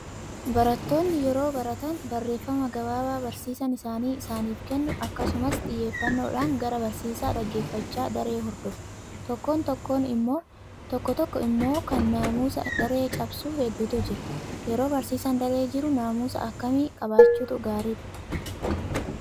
Barattoonni yeroo baratan barreeffama gabaabaa barsiisaan isaanii isaaniif kennu akkasumas xiyyeeffannoodhaan gara barsiisaa dhaggeeffachaa daree hordofu. Tokko tokko immoo kan naamusa daree cabsu hedduutu jira. Yeroo barsiisaan daree jiru naamusa akkamii qabaachuutu gaariidha?